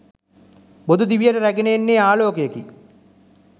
බොදු දිවියට රැගෙන එන්නේ ආලෝකයකි.